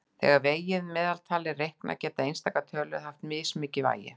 Þegar vegið meðaltal er reiknað geta einstakar tölur haft mismikið vægi.